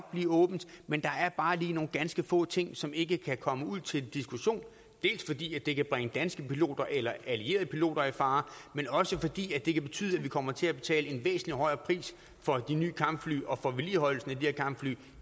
blive åbent men der er bare lige nogle ganske få ting som ikke kan komme ud til diskussion dels fordi det kan bringe danske piloter eller allierede piloter i fare men også fordi det kan betyde at vi kommer til at betale en væsentlig højere pris for de nye kampfly og for vedligeholdelsen af de her kampfly